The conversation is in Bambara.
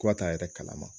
Ko ka taa a yɛrɛ kalama